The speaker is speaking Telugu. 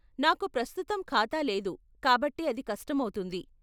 నాకు ప్రస్తుతం ఖాతా లేదు కాబట్టి అది కష్టమౌతుంది.